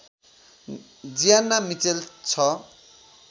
Gianna Mitchell ६